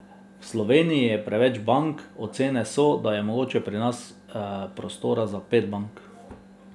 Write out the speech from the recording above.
V Sloveniji je preveč bank, ocene so, da je mogoče pri nas prostora za pet bank.